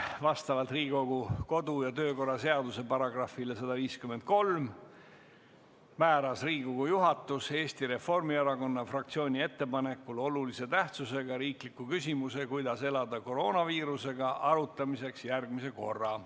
Vastavalt Riigikogu kodu- ja töökorra seaduse §-le 153 määras Riigikogu juhatus Eesti Reformierakonna fraktsiooni ettepanekul olulise tähtsusega riikliku küsimuse "Kuidas elada koroonaviirusega?" arutamiseks järgmise korra.